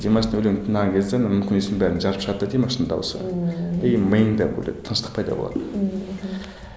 димаштың өлеңін тыңдаған кезде мүмкін еместің бәрін жарып шығады да димаштың дауысы ыыы и миыңда тыныштық пайда болады ммм мхм